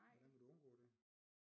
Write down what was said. Hvordan vil du undgå det?